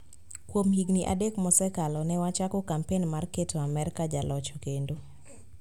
Kuom higini adek mosekalo, ne wachako kampen mar keto Amerka jaloch kendo.